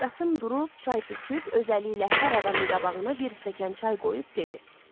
Qasım durub çay töküb özəliyi ilə hər adamın qabağına bir stəkan çay qoyub dedi: